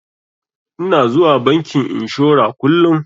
Ina zuwa bankin inshora kullun.